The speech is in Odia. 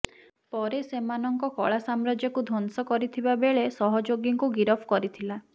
ପରେ ସେମାନଙ୍କ କଳାସାମ୍ରାଜ୍ୟକୁ ଧଂସ କରିଥିବା ବେଳେ ସହଯୋଗୀଙ୍କୁ ଗିରଫ କରିଥିଲା